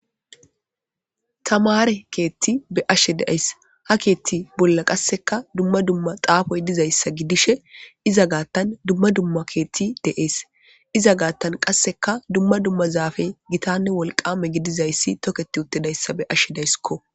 Tamare kethi be'ashe dayis ha bolli qaseka duma duma xapoyi dizayisa gidishe iza gathan duma duma kethe dees iza gathan qaseka duma duma zaapey gittane woliqama gididayis toketi uttidaysa be'ashe dayisko